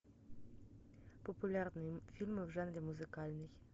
популярные фильмы в жанре музыкальный